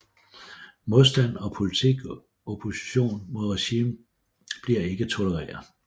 Modstand og politisk opposition mod regimet bliver ikke tolereret